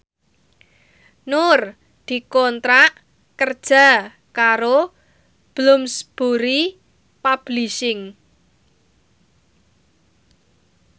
Nur dikontrak kerja karo Bloomsbury Publishing